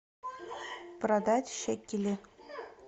продать шекели